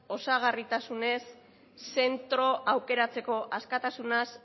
osagarritasunez zentro aukeratzeko askatasunaz